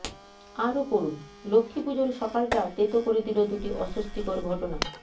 আরও পড়ুন লক্ষ্মীপুজোর সকালটা তেতো করে দিল দুটি অস্বস্তিকর ঘটনা